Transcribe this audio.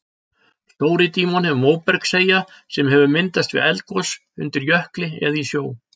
Stóri-Dímon er móbergseyja sem hefur myndast við eldgos undir jökli eða í sjó.